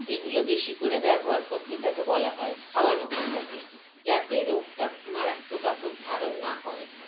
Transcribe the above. এগুলো বেশি করে ব্যবহার করতে তাকে বলা হয় খাওয়ানো হয় তাকে যাতে রোগটা মারাত্মক আকর ধারণ না করে